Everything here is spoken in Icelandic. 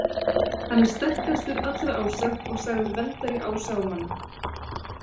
Hann er sterkastur allra ása og sagður verndari ása og manna.